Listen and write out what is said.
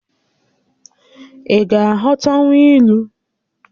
Ị ga-aghọtanwu ilu?